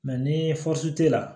ni la